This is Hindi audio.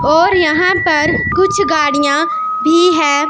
और यहां पर कुछ गाड़ियां भी है।